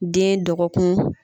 Den dɔgɔkun